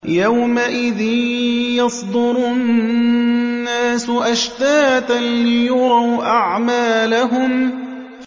يَوْمَئِذٍ يَصْدُرُ النَّاسُ أَشْتَاتًا لِّيُرَوْا أَعْمَالَهُمْ